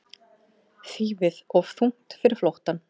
Þýfið of þungt fyrir flóttann